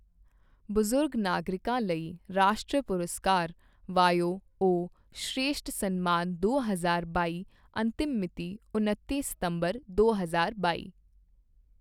ਬਜ਼ੁਰਗ ਨਾਗਰਿਕਾਂ ਲਈ ਰਾਸ਼ਟਰੀ ਪੁਰਸਕਾਰ ਵਾਯੋਓਸ਼੍ਰੇਸ਼ਠ ਸਨਮਾਨ ਦੋ ਹਜ਼ਾਰ ਬਾਈ ਅੰਤਿਮ ਮਿਤੀ ਉਨੱਤੀ ਸਤੰਬਰ ਦੋ ਹਜ਼ਾਰ ਬਾਈ